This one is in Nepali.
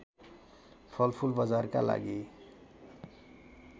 फलफुल बजारका लागि